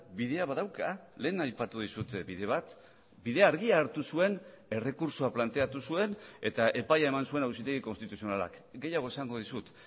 bidea badauka lehen aipatu dizut bide bat bide argia hartu zuen errekurtsoa planteatu zuen eta epaia eman zuen auzitegi konstituzionalak gehiago esango dizut